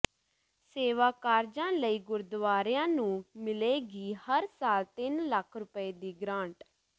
ਸੇਵਾ ਕਾਰਜਾਂ ਲਈ ਗੁਰਦੁਆਰਿਆਂ ਨੂੰ ਮਿਲੇਗੀ ਹਰ ਸਾਲ ਤਿੰਨ ਲੱਖ ਰੁਪਏ ਦੀ ਗਰਾਂਟ